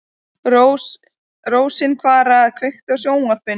Rósinkara, kveiktu á sjónvarpinu.